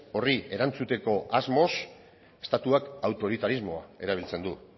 horri erantzuteko asmoz estatuak autoritarismoa erabiltzen du